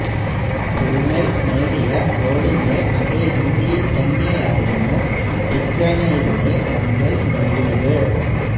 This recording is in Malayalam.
പൂണെ നേടിയ ഗോളിന്റെ അതേ രീതിയില് തന്നെയായിരുന്നു പിക്വനേയിലൂടെ മുംബൈ നേടിയത്